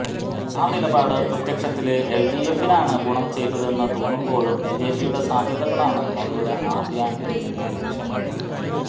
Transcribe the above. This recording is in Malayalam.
ആ നിലപാട് പ്രത്യക്ഷത്തില് എല്ഡിഎഫിനാണ് ഗുണം ചെയ്തതെന്നു തോന്നുമ്പോഴും ബിജെപിയുടെ സാധ്യതകളാണ് അവരുടെ ആദ്യ എംഎല്എ ലക്ഷ്യമിടുന്നത്